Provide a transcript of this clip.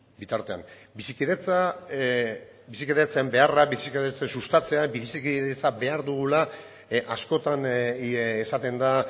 bitartean bizikidetza bizikidetzen beharra bizikidetza sustatzeak bizikidetza behar dugula askotan esaten da